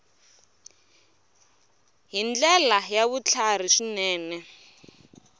hi ndlela ya vutlhari swinene